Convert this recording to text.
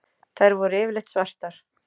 Þær voru yfirleitt svartar.